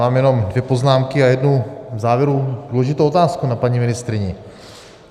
Mám jenom dvě poznámky a jednu v závěru důležitou otázku na paní ministryni.